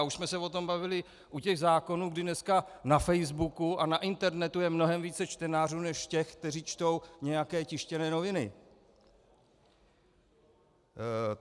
A už jsme se o tom bavili u těch zákonů, kdy dneska na Facebooku a na internetu je mnohem více čtenářů než těch, kteří čtou nějaké tištěné noviny.